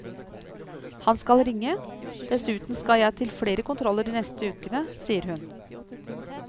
Han skal ringe, dessuten skal jeg til flere kontroller de neste ukene, sier hun.